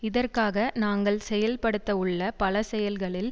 இதற்காக நாங்கள் செயல்படுத்தவுள்ள பல செயல்களில்